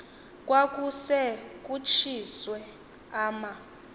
kwakuse kutshiswe ama